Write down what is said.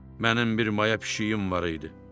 Mənim bir maya pişiyim var idi.